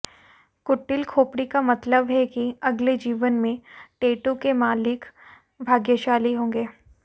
कुटिल खोपड़ी का मतलब है कि अगले जीवन में टैटू के मालिक भाग्यशाली होंगे